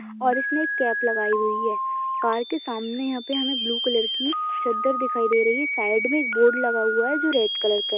और इसने कैप लगाई हुई है कार के सामने यहाँ पे हमे ब्लू कलर की चद्दर दिखाई दे रही है साइड मे एक बोर्ड लगा हुआ है जो रेड कलर का--